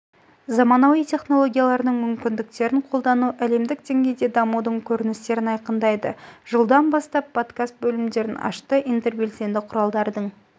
заманауи тенологиялардың мүмкіндіктерін қолдану әлемдік деңгейде дамудың көріністерін айқындайды жылдан бастап подкас лімдерін ашты интербелсенді құралдардың